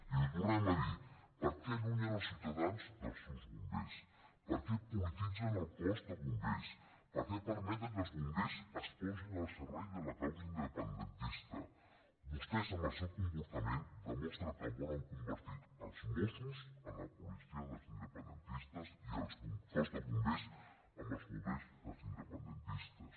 i ho tornem a dir per què allunyen els ciutadans dels seus bombers per què polititzen el cos de bombers per què permeten que els bombers es posin al servei de la causa independentista vostès amb el seu comportament demostren que volen convertir els mossos en la policia dels independentistes i el cos de bombers en els bombers dels independentistes